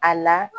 A la